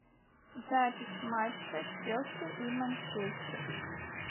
запись матча челси и манчестер